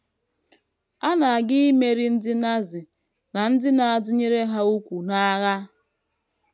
A na - aga imeri ndị Nazi na ndị na - adụnyere ha úkwù n’agha.